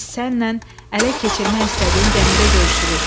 biz sənlə ələ keçirmək istədiyin gəmidə görüşürük.